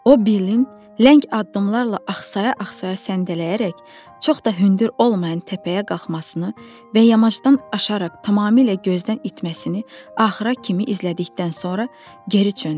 O Billin ləng addımlarla axsaya-axsaya səndələyərək çox da hündür olmayan təpəyə qalxmasını və yamacdan aşaraq tamamilə gözdən itməsini axıra kimi izlədikdən sonra geri döndü.